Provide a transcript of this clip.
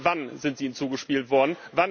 Wenn ja, wann sind sie Ihnen zugespielt worden?